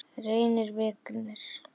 Reynir Vignir.